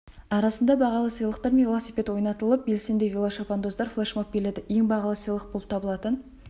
арасында бағалы сыйлықтар мен велосипед ойнатылатып белсенді велошабандоздар флэшмоб биледі ең бағалы сыйлық болып табылатын